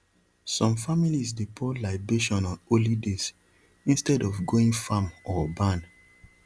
some families dey pour libation on holy days instead of going farm or barn